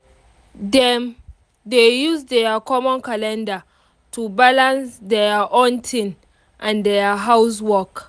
dem dey use their common calendar to balance their own thing and their house work